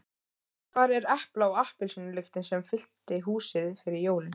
Hvar er epla- og appelsínulyktin sem fyllti húsið fyrir jólin?